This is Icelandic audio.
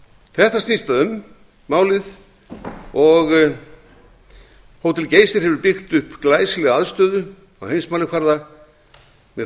þetta snýst málið um hótel geysir hefur byggt upp glæsilega aðstöðu á heimsmælikvarða með